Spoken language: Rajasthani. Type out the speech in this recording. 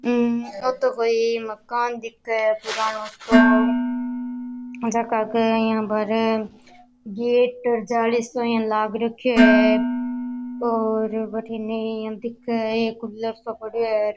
आ तो कोई मकान दिखे है पुराणों सो झक के इया बार गेट जाली सो इया लाग रखो है और बठन एक इया दिख एक कूलर सो पड़ो है र।